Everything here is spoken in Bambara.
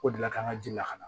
O de la k'an ka ji lakana